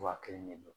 Wa kelen de don